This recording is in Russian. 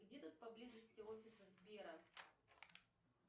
где тут поблизости офис сбера